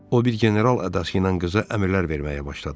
O bir general ədası ilə qıza əmrlər verməyə başladı.